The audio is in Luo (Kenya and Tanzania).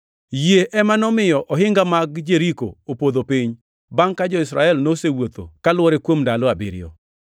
Yie ema nomiyo ohinga mag Jeriko opodho piny, bangʼ ka jo-Israel nosewuotho ka lwore kuom ndalo abiriyo.